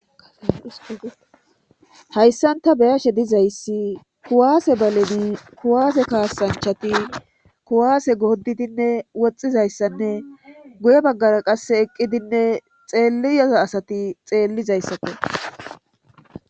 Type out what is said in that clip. hayssan ta beyashe dizayssi kuwaase balen kuwaase kaasanchati kuwaase gooddidinne woxxizayssanne guye baggara qasse eqqidinne xeellya asati xeellizayssakko